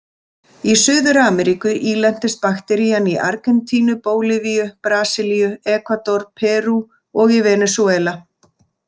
Í Suður-Ameríku ílentist bakterían í Argentínu, Bólivíu, Brasilíu, Ekvador, Perú og í Venesúela.